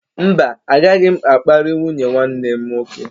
Mba, agaghị m akparị nwunye nwanne m nwoke.